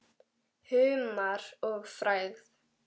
Humar og frægð?